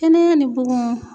Kɛnɛya ni bugun